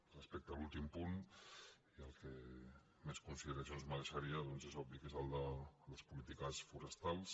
respecte a l’últim punt i el que més consideracions mereixeria doncs és obvi que és el de les polítiques forestals